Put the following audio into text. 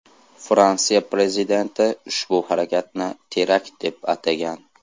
Fransiya prezidenti ushbu harakatni terakt deb atagan .